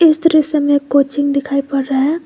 इस दृश्य में कोचिंग दिखाई पड़ रहा है।